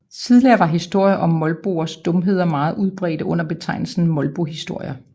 Tidligere var historier om molboers dumheder meget udbredte under betegnelsen molbohistorier